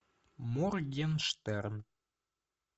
моргенштерн